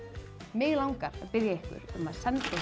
mig langar að biðja ykkur um að senda